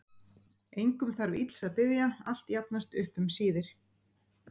Engum þarf ills að biðja, allt jafnast upp um síðir.